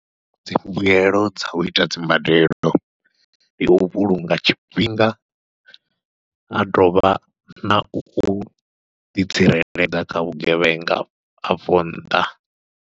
Dzimbuyelo dza uita dzimbadelo ndi u vhulunga tshifhinga a dovha nau ḓitsireledza kha vhugevhenga afho nnḓa.